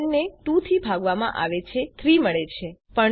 જયારે ૭ ને ૨ થી ભાગવામાં આવે છે આપણને ૩ મળે છે